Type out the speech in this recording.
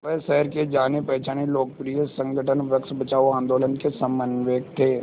वह शहर के जानेपहचाने लोकप्रिय संगठन वृक्ष बचाओ आंदोलन के समन्वयक थे